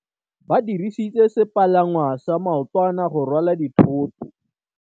Ba dirisitse sepalangwasa maotwana go rwala dithôtô.